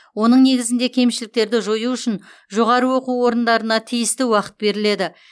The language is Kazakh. оның негізінде кемшіліктерді жою үшін жоғарғы оқу орындарына тиісті уақыт беріледі